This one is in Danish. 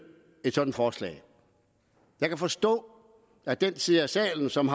et sådant forslag jeg kan forstå at den side af salen som